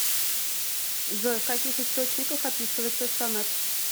джой в каких источниках описывается сонет